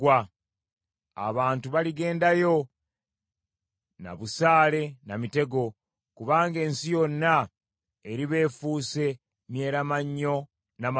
Abantu baligendayo na busaale na mitego, kubanga ensi yonna eriba efuuse myeramannyo na maggwa.